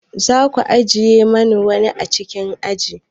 Za ku ajiye mani wuri a cikin aji?